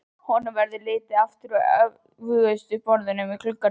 Honum verður litið aftur á öftustu borðin í gluggaröðinni.